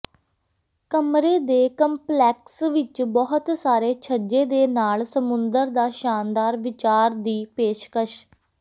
ਕਮਰੇ ਦੇ ਕੰਪਲੈਕਸ ਵਿੱਚ ਬਹੁਤ ਸਾਰੇ ਛੱਜੇ ਦੇ ਨਾਲ ਸਮੁੰਦਰ ਦਾ ਸ਼ਾਨਦਾਰ ਵਿਚਾਰ ਦੀ ਪੇਸ਼ਕਸ਼